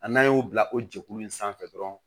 A n'an y'o bila o jɛkulu in sanfɛ dɔrɔn